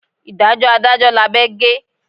Ìdájọ́ adájọ́ lábẹ́ gé.